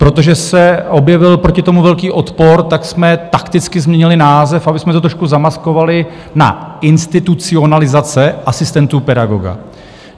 Protože se objevil proti tomu velký odpor, tak jsme takticky změnili název, abychom to trošku zamaskovali, na institucionalizace asistentů pedagoga.